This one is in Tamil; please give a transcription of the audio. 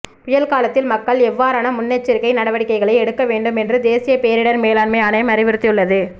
புயல் காலத்தில் மக்கள் எவ்வாறான முன்னெச்சரிக்கை நடவடிக்கைகளை எடுக்க வேண்டும் என்று தேசிய பேரிடர் மேலாண்மை ஆணையம் அறிவுறுத்தியுள்ளது